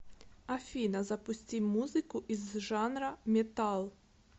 афина запусти музыку из жанра металл